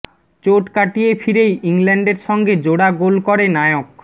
চোট কাটিয়ে ফিরেই ইংল্যান্ডের সঙ্গে জোড়া গোল করে নায়ক